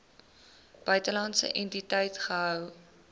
buitelandse entiteit gehou